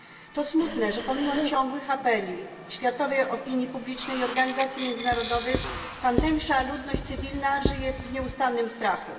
To smutne, że pomimo ciągłych apeli światowej opinii publicznej i organizacji międzynarodowych tamtejsza ludność cywilna żyje w nieustannym strachu.